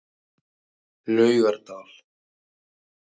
Laugardal